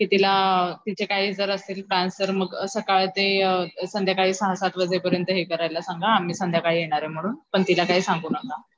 कि तिला तिचे काही जर असतील प्लॅन तर असं काय संध्याकाळी सहा सात वाजे पर्यंत हे करायला सांगा, आम्ही संध्याकाळी येणारे म्हणून पण तिला काही सांगू नका.